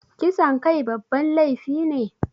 Kisan kai babban laifi ne?